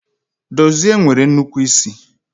Dozie nwere nnukwu isi